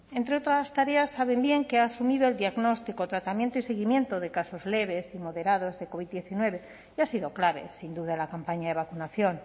entre otras tareas saben bien que ha asumido el diagnóstico tratamiento y seguimiento de casos leves y moderados de covid diecinueve y ha sido clave sin duda la campaña de vacunación